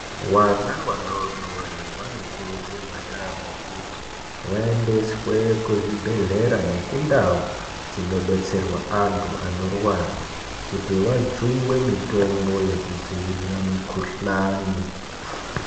Vana vadodori vanokurudzirwa yamho kuti vaendeswe kuzvibhedhlera nekundau dzinobetserwa antu anorwara kuti vajungwe mitombo yekudzivirira mikhuhlani.